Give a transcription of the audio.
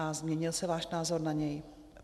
A změnil se váš názor na něj?